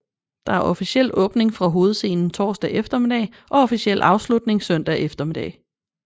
Der er officiel åbning fra hovedscenen torsdag eftermiddag og officiel afslutning søndag eftermiddag